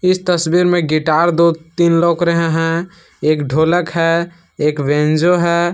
इस तस्वीर में गिटार दो तीन लग रहे हैं एक ढोलक है एक बैंजो है।